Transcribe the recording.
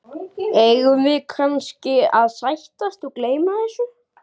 Eigum við kannski að sættast og gleyma þessu?